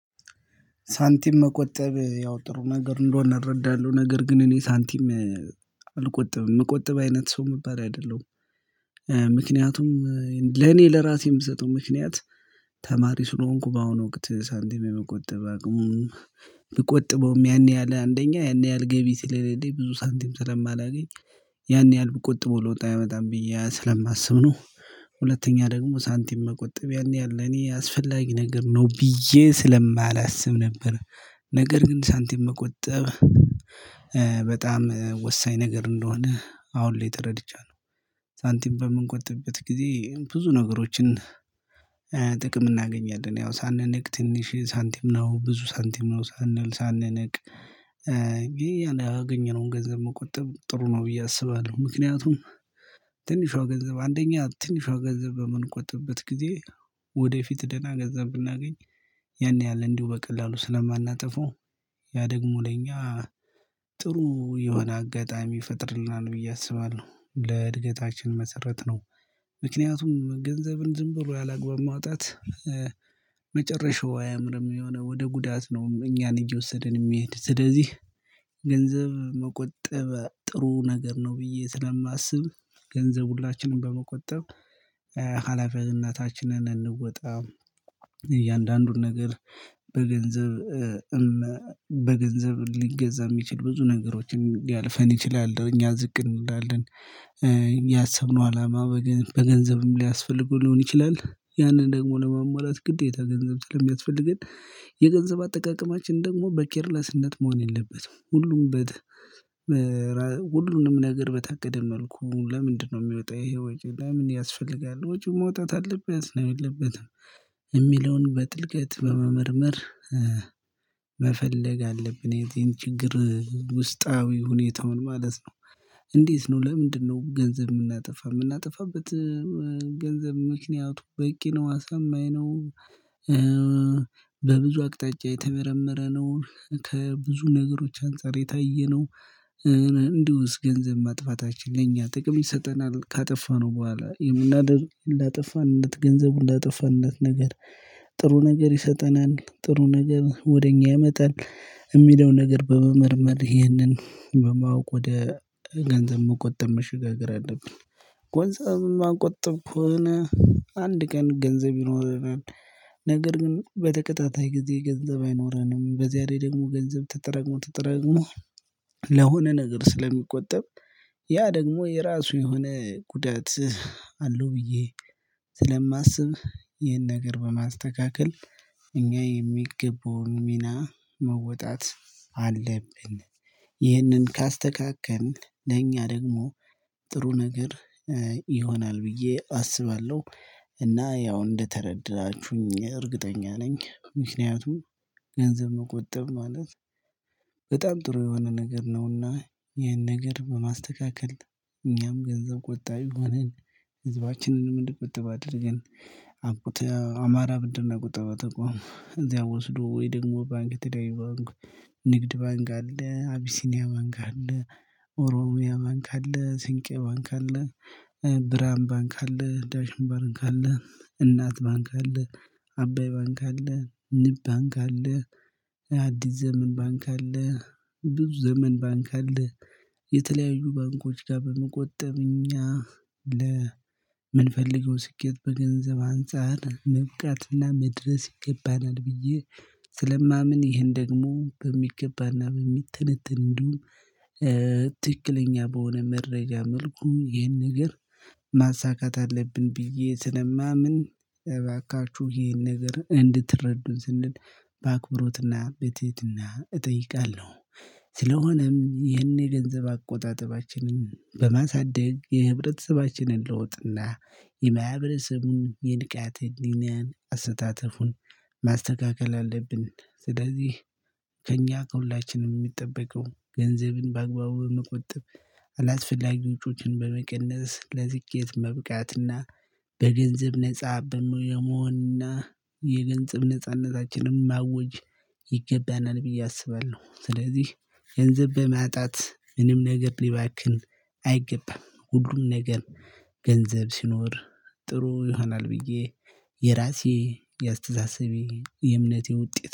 ሳንቲም መቆጠብ ያው ጥሩ ነገር እንደሆነ እረዳለሁ ነገር ግን እኔ ሳንቲም አልቆጥብም የምቆጠብ አይነት ሰው የምባል አይደለሁም። ምክንያቱም ለኔ ለራሴ የምሰጠው ምክንያት ተማሪ ስለሆንኩ በአሁኑ ወቅት ሳንቲም የመቆጠብ አቅሙ ብቆጥበውም ያን ያህል አንደኛ ያን ያህል ገቢ ስለሌለኝ ብዙ ሳንቲም ስለማላገኝ ያን ያህል ብቆጥበው ለውጥ ያመጣል ብዬ ስለማስብ ነው። ሁለተኛ ደግሞ ሳንቲም መቆጠብ ያን ያህል ለኔ አስፈላጊ ነገር ነው ብዬ ስለማላስብ ነበር። ነገር ግን ሳንቲም መቆጠብ በጣም ወሳኝ ነገር እንደሆነ አሁን ላይ ተረድቻለሁ። ሳንቲም በምንቆጥበት ጊዜ ብዙ ነገሮችን ጥቅም እናገኛለን ያው ሳንነቅ ትንሽ ሳንቲም ነው ብዙ ሳንቲም ነው ሳንል ሳንንቅ። ያገኘነውን ገንዘብ መቆጠብ ጥሩ ነው ብዬ አስባለሁ። ምክንያቱም ትንሿ ገንዘብ አንደኛ ትንሿ ገንዘብ በምንቆጥበት ጊዜ ወደፊት ደህና ገንዘብ ብናገኝ ያን ያህል እንዲሁ በቀላሉ ስለማናጠፋው ያ ደግሞ ለእኛ ጥሩ የሆነ አጋጣሚ ይፈጥርልናል ብዬ ብዬ አስባለሁ ለእድገታችን መሰረት ነው። ምክንያቱም ገንዘብን ዝም ብሎ ያላግባብ ማውጣት መጨረሻው አያምርም የሆነ ወደ ጉዳት ነው እኛን እየወሰድን የሚሄድ ስለዚህ። ገንዘብ መቆጠብ ጥሩ ነገር ነው። ብዬ ስለማስብ ገንዘብ ሁላችንም በመቆጠብ ሀላፊነታችንን እንወጣ እያንዳንዱን ነገር በገንዘብ በገንዘብ ሊገዛ የሚችል ብዙ ነገሮችን ሊያልፈን ይችላል እኛ ዝቅ እንላለን። እኛ ያሰብነው አላማ በገንዘብም ሊያስፈልገው ሊሆን ይችላል። ያንን ደግሞ ለመሟላት ግዴታ ገንዘብ ስለሚያስፈልገን የገንዘብ አጠቃቀማችን ደግሞ በኬርለስነት መሆን የለበትም። ሁሉም በ ሁሉንም ነገር በታቀደ መልኩ ለምንድነው የሚወጣው ይሄ ወጪ ለምን ያስፈልጋል? ወጪው መውጣት አለበት ነው የለበትም? የሚለውን በጥልቀት በመመርመር መፈለግ አለብን። የዚህን ችግር ውስጣዊ ሁኔታውን ማለት ነው። እንዴት ነው? ለምንድነው? ገንዘብ የምናጠፋ የምናጠፋበት ገንዘብ ምክንያቱ በቂ ነው አሰማኝ ነው። በብዙ አቅጣጫ የተመረመረ ነው ከብዙ ነገሮች አንፃር የታየነው። እንዲሁስ ገንዘብ ማጥፋታችን ለእኛ ጥቅም ይሰጠናል ካጠፋነው በኋላ የምናደርገው ላጠፋንለት ገንዘቡን ላጠፋንለት ነገር። ጥሩ ነገር ይሰጠናል ጥሩ ነገር ወደ እኛ ያመጣል የሚለው ነገር በመመርመር ይሄንን በማወቅ ወደ ገንዘብ መቆጠብ መሽጋገር አለብን። ጎንዘብ ማቆጠብ ከሆነ አንድ ቀን ገንዘብ ይኖረናል። ነገር ግን በተከታታይ ጊዜ ገንዘብ አይኖረንም በዚያ ላይ ደግሞ ገንዘብ ተጠራቅሞ ተጠራቅሞ ነገር ስለሚቆጠብ ያ ደግሞ የራሱ የሆነ ጉዳት አለው። ብዬ ስለማስብ ይህን ነገር በማስተካከል እኛ የሚገቡን ሚና መወጣት አለብን። ይህንን ካስተካከልን ለእኛ ደግሞ ጥሩ ነገር ይሆናል። ብዬ አስባለሁ እና ያው እንደተረዳችሁኝ እርግጠኛ ነኝ። ምክንያቱም ገንዘብ መቆጠብ ማለት በጣም ጥሩ የሆነ ነገር ነውና ይህን ነገር በማስተካከል እኛም ገንዘብ ቆጣቢ ሆነን ህዝባችንንም እንዲቆጥብ አድርገን። አማራ ብድርና ቁጠባ ተቋም እዚያ ወስዶ ወይ ደግሞ ባንክ የተለያዩ ባንክ ንግድ ባንክ አለ አቢሲኒያ ባንክ አለ ኦሮሚያ ባንክ አለ ስንቄ ባንክ አለ። ብርሃን ባንክ አለ ዳሽን ባንክ አለ እናት ባንክ አለ አባይ ባንክ አለ ንብ ባንክ አለ አዲስ ዘመን ባንክ አለ ብዙ ዘመን ባንክ አለ። የተለያዩ ባንኮች ጋር በመቆጠብ እኛ ለምንፈልገው ስኬት በገንዘብ አንፃር መብቃትና መድረስ ይገባናል። ብዬ ስለማምን ይሄን ደግሞ በሚገባና በሚተነተን እንዲሁም ትክክለኛ በሆነ መረጃ መልኩ ይሄን ነገር ማሳካት አለብን። ብዬ ስለማምን እባካችሁ ይሄን ነገር እንድትረዱን ስንል በአክብሮትና በትሄድና እጠይቃለሁ። ስለሆነም ይህንን የገንዘብ አቆጣጠባችንን በማሳደግ የህብረተሰባችንን ለውጥና የማህበረሰቡን የንቃተ ህሊናን አሰተታፉን ማስተካከል አለብን። ስለዚህ ከእኛ ከሁላችንም የሚጠበቀው ገንዘብን በአግባቡ በመቆጠብ አላስፈላጊ ወጪዎችን በመቀነስ ለስኬት መብቃትና በገንዘብ ነፃ የመሆንና የገንዘብ ነጻነታችንን ማወጅ ይገባናል ብዬ አስባለሁ። ስለዚህ ገንዘብ በማጣት ምንም ነገር ሊባክን አይገባም ሁሉም ነገር ገንዘብ ሲኖር ጥሩ ይሆናል ብዬ የራሴ የአስተሳሰቤ የእምነቴ ውጤት